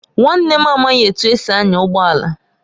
Nwanne m amaghị etu esi anya ụgbọ ala